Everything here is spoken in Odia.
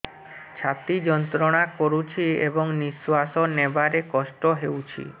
ଛାତି ଯନ୍ତ୍ରଣା କରୁଛି ଏବଂ ନିଶ୍ୱାସ ନେବାରେ କଷ୍ଟ ହେଉଛି